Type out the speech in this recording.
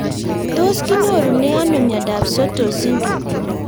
Tos kinyorune ano miondop Sotos syndrome